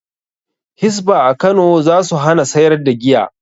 Hisba a Kano za su hana sayar da giya.